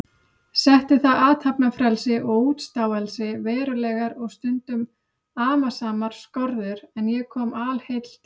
Setti það athafnafrelsi og útstáelsi verulegar og stundum amasamar skorður, en ég kom alheill til